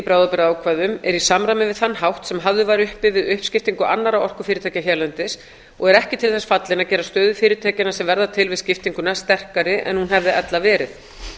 bráðabirgðaákvæðum er í samræmi við þann hátt sem hafður var uppi við uppskiptingu annarra orkufyrirtækja hérlendis og er ekki til þess fallin að gera stöðu fyrirtækjanna sem verða til við skiptinguna sterkari en hún hefði ella verið